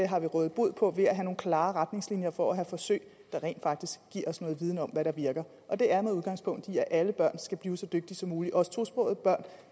har vi rådet bod på ved at have nogle klare retningslinjer for at have forsøg der rent faktisk giver os noget viden om hvad der virker og det er med udgangspunkt i at alle børn skal blive så dygtige som muligt også tosprogede børn